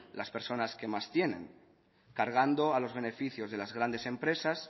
las personas que más tienen cargando a los beneficios de las grandes empresas